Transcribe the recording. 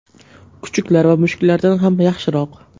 Kuchuklar va mushuklardan ham yaxshiroq!